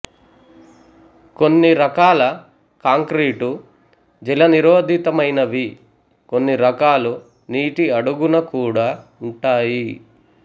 కొన్ని రకాల కాంక్రీటు జలనిరోధితమైనవి కొన్ని రకాలు నీటి అడుగున కూడా ఉంటాయి